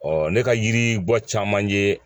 Ɔ ne ka yiri bɔ caman ye